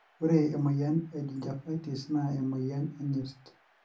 ore emoyian egingivitis na emoyian enyirt.